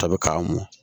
Tɔ bɛ k'a mɔ